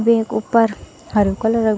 वेक ऊपर हरु कलर क --